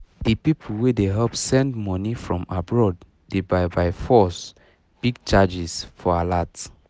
the people wey dey help send money from abroad de by byforce big charges for alert